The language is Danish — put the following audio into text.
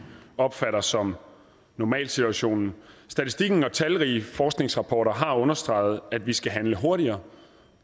opfatter som normalsituationen statistikken og talrige forskningsrapporter har understreget at vi skal handle hurtigere